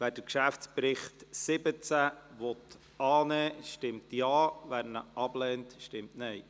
Wer den Geschäftsbericht 2017 annehmen will, stimmt Ja, wer diesen ablehnt, stimmt Nein.